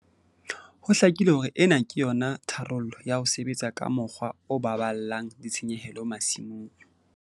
Ho hlakile hore ena ke yona tharollo ya ho sebetsa ka mokgwa o baballang ditshenyehelo masimong.